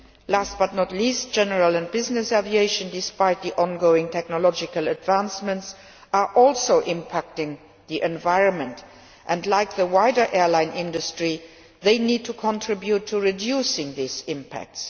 Last but not least, general and business aviation, despite the ongoing technological advances, are also impacting on the environment and, like the wider airline industry, they need to contribute to reducing these impacts.